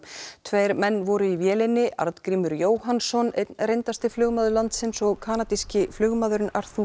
tveir menn voru í vélinni Arngrímur Jóhannsson einn reyndasti flugmaður landsins og kanadíski flugmaðurinn